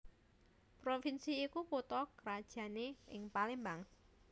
Provinsi iku kutha krajané ing Palembang